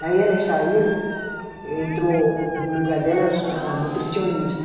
Daí elas saíram, entrou no lugar delas a nutricionista.